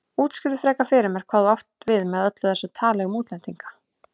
Útskýrðu frekar fyrir mér hvað þú áttir við með öllu þessu tali um útlendinga.